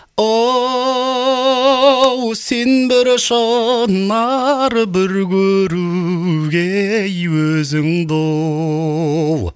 оу сен бір шынар бір көруге ей өзіңді оу оу